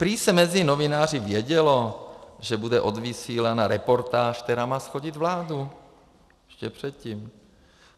Prý se mezi novináři vědělo, že bude odvysílaná reportáž, která má shodit vládu, ještě předtím.